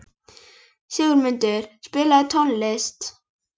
Grindin heldur steikinni á lofti og fatið geymir allt soðið.